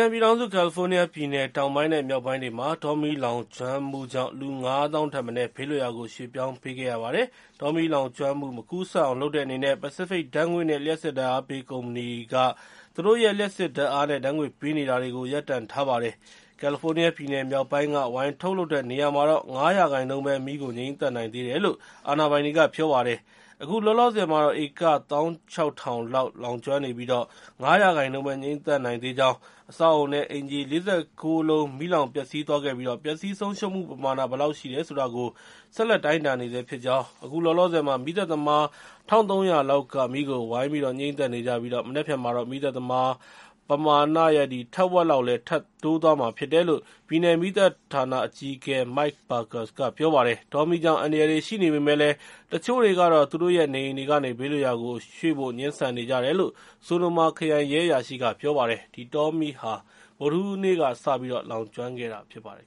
န်ပြည်ထောင်စု ကယ်လီဖိုးနီးယားပြည်နယ် တောင်ပိုင်း နဲ့ မြောက်ပိုင်းတွေမှာ တောမီးလောင်ကျွမ်းမှုကြောင့် လူ ၅၀,၀၀၀ ထက်မနည်း ဘေးလွတ်ရာကို ရွှေ့ပြောင်းပေးခဲ့ရပါတယ်။ တောမီးလောင်ကျွမ်းမှု မကူးစက်အောင်လုပ်တဲ့အနေနဲ့ Pacific ဓါတ်ငွေ့ နဲ့ လျှပ်စစ်ဓါတ်အားပေးကုမ္ပဏီတွေက သူတို့ရဲ့ လျှပ်စစ်ဓါတ်အားနဲ့ ဓါတ်ငွေ့ပေးနေတာတွေကို ရပ်တန့်ထားပါတယ်။ ကယ်လီဖိုးနီးယားပြည်နယ်မြောက်ပိုင်းက ဝိုင်ထုတ်လုပ်တဲ့နေရာမှာတော့ ၅ ရာခိုင်နှုန်း ပဲ မီးကို ငြှိမ်းသတ်နိုင်သေးတယ်လို့ အာဏာပိုင်တွေက ပြောပါတယ်။ အခုလောက်လောဆယ်မှာတော့ ဧက ၁၆,၀၀၀ လောက် လောင်ကျွမ်းနေပြီး၊ ၅ ရာခိုင်နှုန်းပဲ ငြှိမ်းသတ်နိုင်သေးကြောင်း အဆောက်အအုံ နဲ့ အိမ်ခြေ ၄၉ လုံး မီးလောင်ပျက်စီးသွားခဲ့ပြီး ပျက်စီးဆုံးရှုံးမှု ပမာဏဘယ်လောက်ရှိတယ်ဆိုတာကို ဆက်လက် တိုင်းတာနေဆဲဖြစ်ကြောင်း အခုလောလောဆယ်မှာ မီးသတ်သမား ၁၃၀၀ က မီးကို ဝိုင်းပြီး ငြိမ်းသတ်နေကြပြီး မနက်ဖြန်မှာတော့ မီးသတ်သမား ပမာဏရဲ့ ထက်ဝက်လောက် ထပ်တိုးသွားမှာဖြစ်တယ်လို့ ပြည်နယ်မီးသတ်ဌာန အကြီးအကဲ Mike Parkes က ပြောပါတယ်။ တောမီးကြောင့် အန္တရာယ်တွေရှိနေပေမယ့်လည်း တချို့တွေကတော့ သူတို့ရဲ့ နေအိမ်တွေကနေ ဘေးလွတ်ရာကို ရွှေ့ဖို့ ငြင်းဆန်နေကြတယ်လို့ Sonoma ခရိုင်ရဲအရာရှိက ပြောပါတယ်။ ဒီတောမီးဟာ ဗုဒ္ဓဟူးနေ့ညက စတင်လောင်ကျွမ်းခဲ့တာ ဖြစ်ပါတယ်